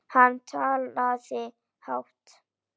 Hann talaði hátt.